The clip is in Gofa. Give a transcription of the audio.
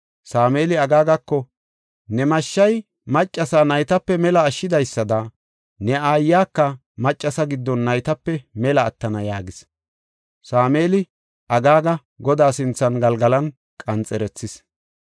Sameeli Agaagako, “Ne mashshay maccasa naytape mela ashshidaysada ne aayaka maccasa giddon naytape mela attana” yaagis. Sameeli Agaaga Godaa sinthan Galgalan qanxerethis.